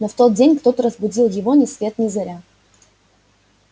но в тот день кто-то разбудил его ни свет ни заря